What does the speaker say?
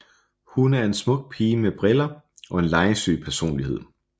Hun er en smuk pige med briller og en legesyg personlighed